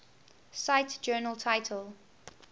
cite journal title